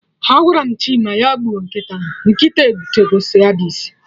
Agwara m Chima ya gbuo nkịta ahụ, kịta obutego Scabies